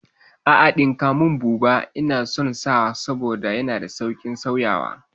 A'a ɗinka mun buba, Ina son sa saboda yana da sauƙin sauyawa